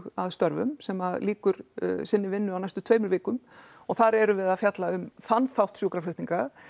að störfum sem að lýkur sinni vinnu á næstu tveimur vikum og þar erum við að fjalla um þann þátt sjúkraflutninga